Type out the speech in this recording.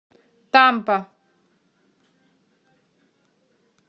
тампа